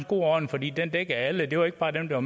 god ordning fordi den dækkede alle det var ikke bare dem der